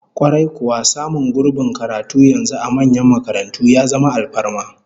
Kwarai kuwa, samun gurbin karatu yanzu a manyan makarantu ya zama alfarma